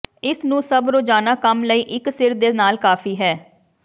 ਇਸ ਨੂੰ ਸਭ ਰੋਜ਼ਾਨਾ ਕੰਮ ਲਈ ਇੱਕ ਸਿਰ ਦੇ ਨਾਲ ਕਾਫ਼ੀ ਹੈ